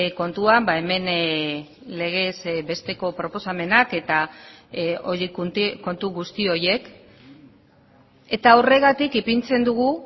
kontuan hemen legez besteko proposamenak eta kontu guzti horiek eta horregatik ipintzen dugu